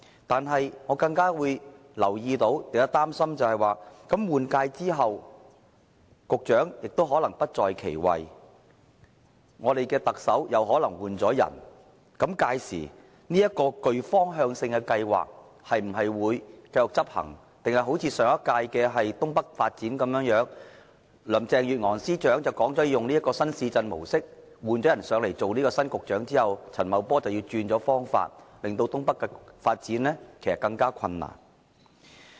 但是，我更加擔心的是，局長在換屆後可能已不在其位，特首亦可能已經換人，屆時這個具方向性的計劃會否繼續執行，抑或好像上屆政府制訂的新界東北發展計劃，林鄭月娥司長說會採用新市鎮模式，但新局長陳茂波上任後，卻改變發展方法，令新界東北的發展更加困難？